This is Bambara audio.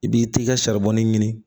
I b'i t'i ka ɲini